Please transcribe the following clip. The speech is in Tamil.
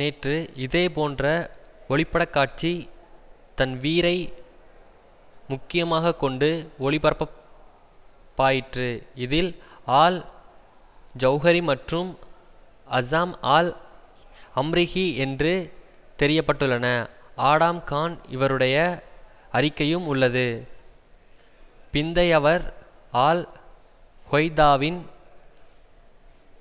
நேற்று இதேபோன்ற ஒளிப்படக்காட்சி தன்வீரை முக்கியமாக கொண்டு ஒளிபரப் பாயிற்று இதில் ஆல் ஜவ்ஹரி மற்றும் அஜம் ஆல் அம்ரிஹி என்று தெரியப்பட்டுள்ள ஆடாம் கான் இருவருடைய அறிக்கையும் உள்ளது பிந்தையவர் ஆல் கொய்தாவின்